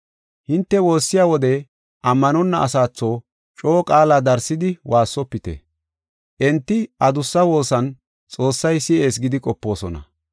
Hinte woossiya wode ammanonna asatho coo qaala darsidi woossofite. Enti adussi woossin Xoossay si7ees gidi qopoosona.